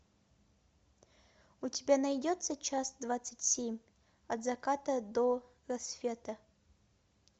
у тебя найдется часть двадцать семь от заката до рассвета